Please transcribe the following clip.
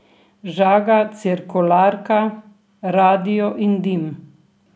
Žaga cirkularka, radio in dim.